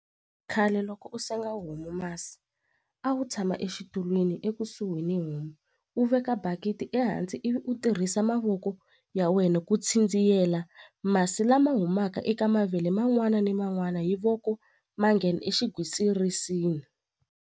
Khale loko u senga homu masi a wu tshama exitulwini ekusuhi ni homu u veka bakiti ehansi ivi u tirhisa mavoko ya wena ku masi lama humaka eka mavele man'wana ni man'wana hi voko ma nghena exigwitsirisini.